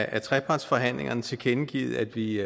af trepartsforhandlingerne tilkendegivet at vi